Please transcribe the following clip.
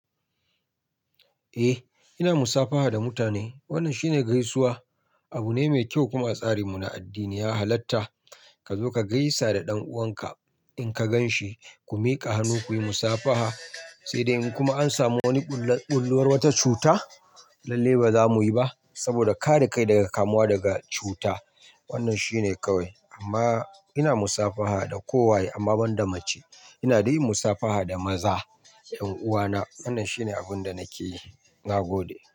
Eh ina musafaha da mutane. Wannan shine gaisuwa. Abu ne mai kyau kuma a tsarin mu na addini ya halatta. Ka zo ka gaisa da ɗan'uwan ka in ka gan shi. Ku miƙa hannu kuyi musafaha sai dai in kuma an samu wani bullowar wata cuta, lallai ba za muyi ba saboda kare kai daga kamuwa da cuta. Wannan shine kawai amma ina musafaha da kowa amma ban da mace. Ina dai musafaha da maza, yan'uwa na. Wannan shine abin da nake yi na gode.